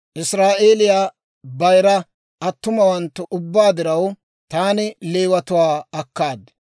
Israa'eeliyaa bayira attumawanttu ubbaa diraw taani Leewatuwaa akkaad.